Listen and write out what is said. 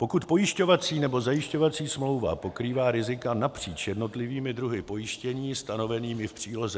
Pokud pojišťovací nebo zajišťovací smlouva pokrývá rizika napříč jednotlivými druhy pojištění stanovenými v příloze